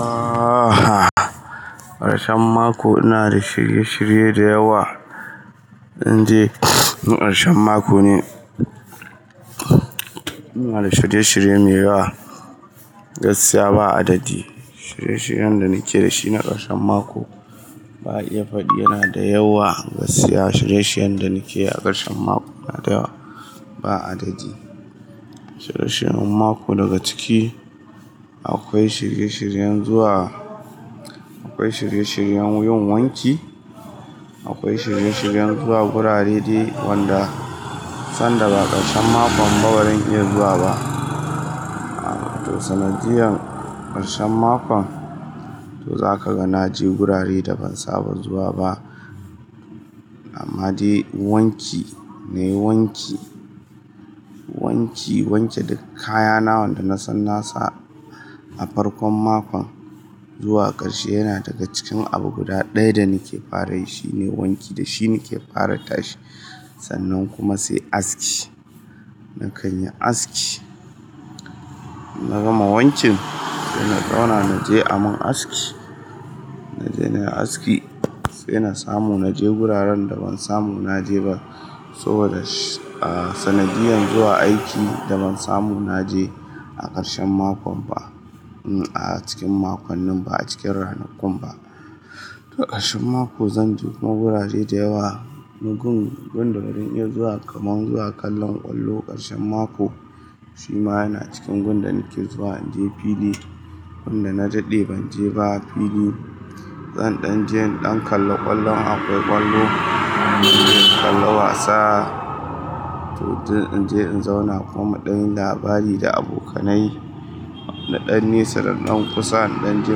Aha! Ƙarshen mako ina da shirye-shirye da yawa. Inde ƙarshen mako ne, ina da shirye-shirye mai yawa. Gaskiya ba adadi, shirye-shiryen da nake da shi na ƙarshen mako ba iya faɗi yana da yawa gaskiya shirye-shiryen da nake a ƙarshen mako yana da yawa ba adadi. Shirye-shiryen mako daga ciki akwai shirye-shiryen zuwa, akwai shirye-shiryen yin wanki, akwai shirye-shiryen zuwa gurare dai wanda sanda ba ƙarshen mako ba bazan iya zuwa ba. To sanadiyan ƙarshen makon to za ka ga na je gurare da ban saba zuwa ba. Amma dai wanki nayi wanki, wanke duka kayana wanda na san nasa a farkon makon zuwa ƙarshe yana daga cikin abu guda ɗaya da nake fara yi shine wanki da shi nake fara tashi sannan kuma sai aski. Na kan yi aski, na gama wankin sai na zauna na je amin aski. Na je na yi aski sai na samu na je wuraren da ban samu na je ba saboda, ah sanadiyan zuwa aiki da ban samu na je a ƙarshen mako ba. A cikin makon nin ba a cikin ranakun ba. Da ƙarshen mako zan je ku magurare da yawa. Wani gurin gunda bazan iya zuwa karshen mako kamar zuwa kallon kwallo shima yana cikin gurin da nake zuwa Naje fili wanda na daɗe ban je ba fili. Zan ɗan je in ɗan kalla ƙwallo in akwai ƙwallo, mu je mu kalla wasa. To duk in je in zauna kuma muɗan yin labari da abokanai. Nadan nesa da nan kusa na danje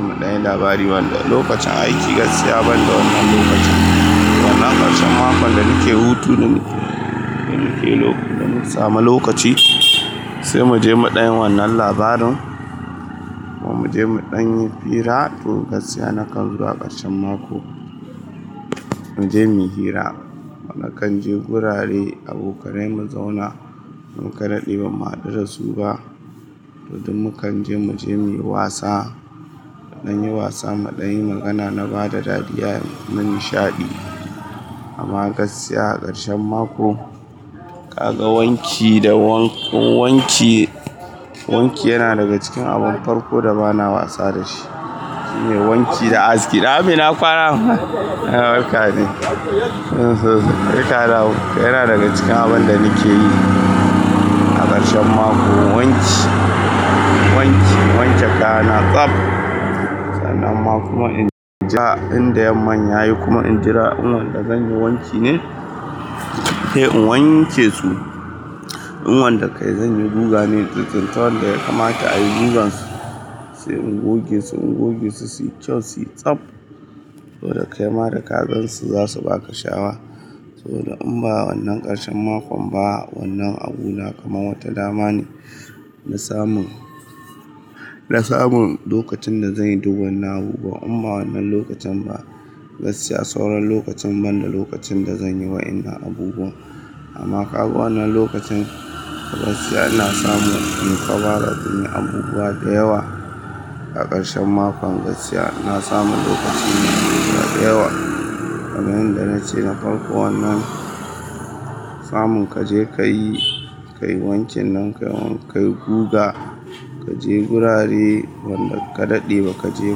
mudanyi labari wanda lokacin aiki gaskiya banda wannan lokacin sannan karshen makon da yake hutu ne nakan samu lokaci sai muje mudanyi wannan labarin. Mu je mu ɗan yi hira to gaskiya na kan zuwa ƙarshen mako mu je mu yi hira. Mu na kan je gurare abokanai mu zauna da muka dade ba mu haɗu da su ba. To mukanje muje muyi wasa mudanyi wasa muɗanyi magana na bada dariya na nishaɗi. Amma gaskiya a ƙarshen mako ka ga wanki da wank, wanki, wanki yana daga cikin abin farko da bana wasa da shi. Shine wanki da aski. Naam ina kwana, yawwa barka dai sai ka dawo. Yana daga cikin abun da nake yi a ƙarshen mako wanki, wanki, wanke kaya na tsab. Sannan ma kuma in jira inda yamman yayi kuma in jira in wanda zan yi wanki ne he in wanke su. In wanda kai zan yi guga ne, in tsintsinta wanda ya kamata a yi gugan su sai in goge su, in goge su su yi kyau su yi tsab. To da kaima da kagansu za su ba ka sha'awa. Saboda inba wannan karshen makon ba wannan a guna kamar wata damane nasamu na samun lokacin da zan yi duk wannan abubuwan. Imma wannan lokacin ba, gaskiya sauran lokacin banda lokacin da zan yi wa'innan abubuwan. Amma ka ga wannan lokacin gaskiya ina samu in fara yin abubuwa da yawa a ƙarshen mako gaskiya ina samun lokaci na yi abubuwa da yawa. Kamar yadda nace na farko wannan samun ka je ka yi, ka yi wankin nan ka yi guga, ka je gurare wanda ka daɗe ba ka je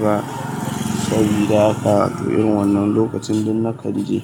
ba. Sabida haka irin wannan lokacin duk na kanje.